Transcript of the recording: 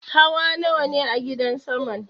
Hawa nawane a gidan saman?